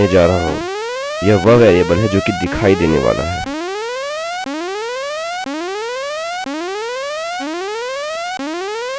मैं इसे my name कहने जा रहा हूँ यह वह वेरिएबल है जो कि दिखाई देने वाली है